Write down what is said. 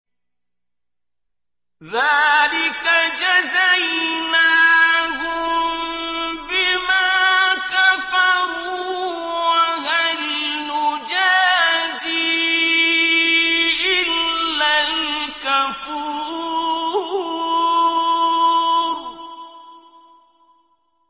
ذَٰلِكَ جَزَيْنَاهُم بِمَا كَفَرُوا ۖ وَهَلْ نُجَازِي إِلَّا الْكَفُورَ